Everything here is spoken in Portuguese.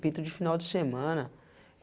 Pintor de final de semana.